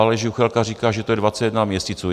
Aleš Juchelka říká, že je to 21 měsíců.